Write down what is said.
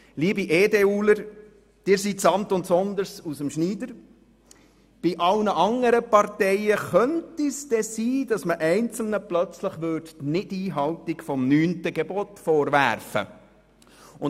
Liebe EDU-Fraktionsmitglieder, Sie sind aus dem Schneider, aber bei allen anderen Parteien könnte es sein, dass man einzelnen die Nichteinhaltung des neunten Gebo tes vorwerfen könnte.